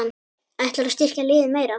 Ætlarðu að styrkja liðið meira?